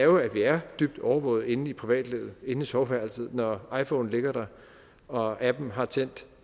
vi er dybt overvåget inde i privatlivet inde i soveværelset når iphonen ligger der og appen har tændt